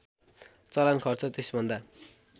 चलान खर्च त्यसभन्दा